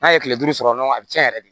N'a ye tile duuru sɔrɔ dɔrɔn a bɛ cɛn yɛrɛ de